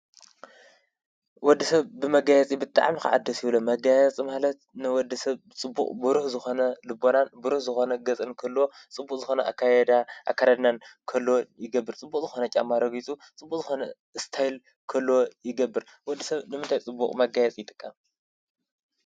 ወድሰብ ብመጋየፂ ብጣዕሚ ከዓ ደስ ይብሎ መጋየፂ ማለት ንወድሰብ ብፅቡቅ ብሩህ ዝኮነ ልቦናን ብሩህ ዝኮነ ገፅን ክህልዎ ፅቡቅ ዝኮነ አካይዳ አከዳድናን ንክህልዎን ይገብር። ፅቡቅ ዝኮነ ጫማ ረጊፁ ፅቡቅ ዝኮነ እስታይል ክህልዎ ይገብር። ወድሰብ ንምንታይ ፅቡቅ መጋየፂ ይጥቀም?